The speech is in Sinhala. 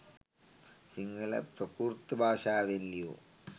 සිංහල ප්‍රාකෘත භාෂාවෙන් ලියු